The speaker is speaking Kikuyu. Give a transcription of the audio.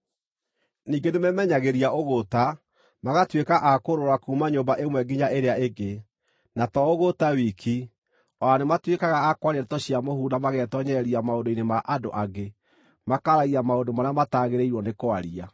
Ningĩ, nĩmemenyagĩria ũgũũta, magatuĩka a kũũrũũra kuuma nyũmba ĩmwe nginya ĩrĩa ĩngĩ. Na to ũgũũta wiki, o na nĩmatuĩkaga a kwaria ndeto cia mũhuhu na magetoonyereria maũndũ-inĩ ma andũ angĩ, makaaragia maũndũ marĩa mataagĩrĩirwo nĩ kwaria.